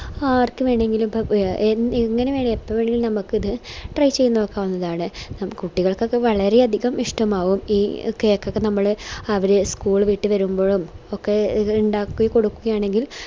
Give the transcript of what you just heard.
ആർക്ക് വേണെങ്കിലും ഇപ്പൊ എങ്ങനെ എപ്പോ വേണെങ്കിലും നമുക്കിത് try ചെയ്ത നോക്കാവുന്നതാണ് കുട്ടികൾക്കൊക്കെ വളരെയതികം ഇഷ്ടമാവും ഈ cake ഒക്കെ നമ്മള് അവര് school വിട്ട് വരുമ്പോ ഒക്കെ ഇത് ഇണ്ടാക്കി കൊടുക്കുവാണെങ്കിൽ